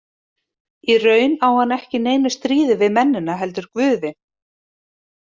Í raun á hann ekki í neinu stríði við mennina heldur guðin.